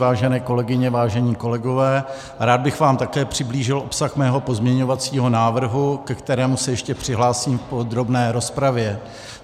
Vážené kolegyně, vážení kolegové, rád bych vám také přiblížil obsah svého pozměňovacího návrhu, ke kterému se ještě přihlásím v podrobné rozpravě.